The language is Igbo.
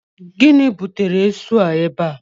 Gịnị butere esu a ebe a?